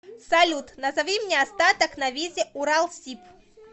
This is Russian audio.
салют назови мне остаток на визе уралсиб